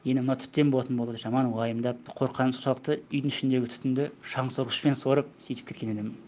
енді мынау тіптен болатын болды ғой деп жаман уайымдап қорыққаным соншалықты үйдің ішіндегі түтінді шаңсорғышпен сорып сөйтіп кеткен едім